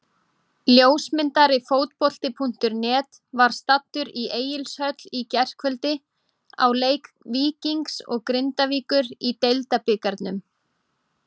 Ljósmyndari Fótbolti.net var staddur í Egilshöll í gærkvöldi á leik Víkings og Grindavíkur í Deildabikarnum.